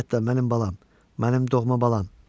Anyetochka mənim balam, mənim doğma balam.